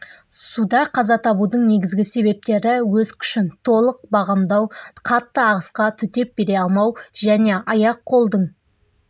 суда қаза табудың негізі себептері өз күшін толық бағамдамау қатты ағысқа төтеп бере алмау және аяқ-қолдың